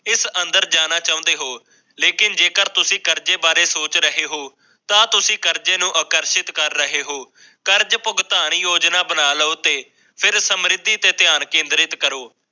ਅੰਦਰ ਜਾਣਾ ਚਾਹੁੰਦੇ ਹੋ ਲੇਕਿਨ ਜੇਕਰ ਤੁਸੀਂ ਕਰਜ਼ੇ ਬਾਰੇ ਸੋਚ ਰਹੇ ਹੋ ਤਾਂ ਤੁਸੀਂ ਕਰਜ਼ੇ ਨੂੰ ਅਗਨ ਭੇਟ ਕਰ ਰਹੇ ਹੋ ਕਵਿਤਾ ਯੋਜਨਾ ਬਣਾਓ ਸਮਰਿੱਧੀ ਤੇ ਧਿਆਨ ਕੇਂਦਰਿਤ ਕਰੋ